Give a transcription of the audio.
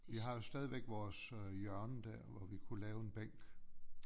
Vi har jo stadigvæk vores øh hjørne der hvor vi kunne lave en bænk